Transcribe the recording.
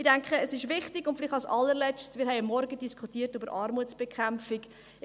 Ich denke, es ist wichtig, und vielleicht als Allerletztes: Wir haben am Morgen über Armutsbekämpfung diskutiert.